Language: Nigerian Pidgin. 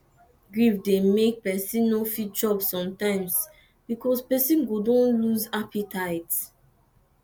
grief dey make pesin no fit chop sometimes because person go don lose appetite